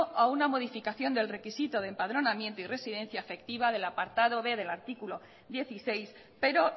a una modificación del requisito de empadronamiento y residencia efectiva del apartado b del artículo dieciséis pero